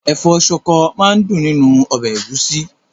Ẹ̀fọ́ ṣọkọ máa dùn nínú ọbẹ̀ ẹ̀gúsí.